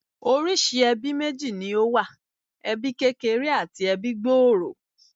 Oríṣìí ẹbí méjì ni ó wà. Ẹbí kékeré àti ẹbí gbòòrò